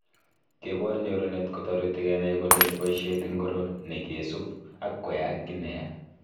Kebor nyorunet kotoreti kenai kole boishet ingiro nekesub ak koyaak ki neyaa